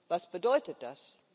Was bedeutet das?